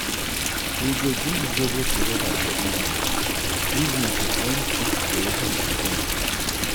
we dey drink zobo together for evening evening to end food preparation event.